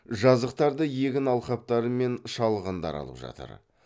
жазықтарды егін алқаптары мен шалғындар алып жатыр